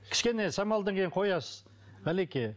кішкене самалдан кейін қоясыз әлеке